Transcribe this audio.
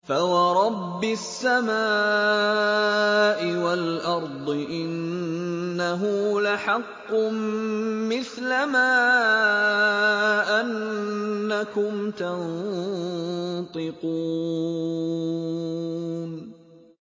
فَوَرَبِّ السَّمَاءِ وَالْأَرْضِ إِنَّهُ لَحَقٌّ مِّثْلَ مَا أَنَّكُمْ تَنطِقُونَ